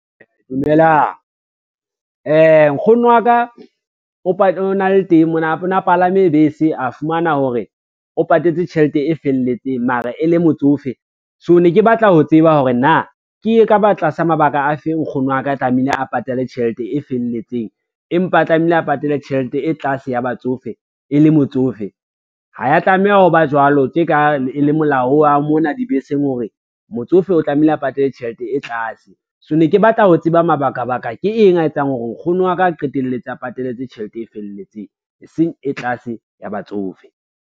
Dumelang, nkgono wa ka o na palame bese a fumana hore o patetse tjhelete e felletseng mara e le motsofe, so ne ke batla ho tseba hore na ke e ka ba tlasa mabaka a feng nkgono wa ka tlamehile a patale tjhelete e felletseng, empa a tlamehile a patale tjhelete e tlase ya batsofe e le motsofe. Ha ya tlameha ho ba jwalo tje ka e le molao wa mona dibeseng, hore motsofe o tlamehile a patale tjhelete e tlase. So ne ke batla ho tseba mabakabaka ke eng a etsang hore nkgono wa ka a qetelletse a patalletse tjhelete e felletseng, e seng e tlase ya batsofe.